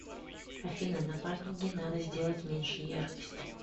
афина на паркинге надо сделать меньше яркость